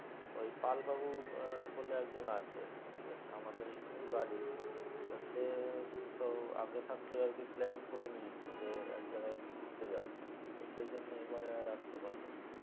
ওই পাল বাবু বলে একজন আছে ঠিক আছে আমাদের এখানেই বাড়ি তো সে তো আগে থাকতেই আর কি plan করে নিয়েছে যে এক জায়গায় ঘুরতে যাবে তো সেই জন্য এবারে আর আসতে পারল না